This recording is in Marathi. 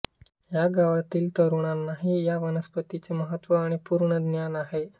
या गावातील तरुणांनाही या वनस्पतींचे महत्त्व आणि पूर्ण ज्ञान आहे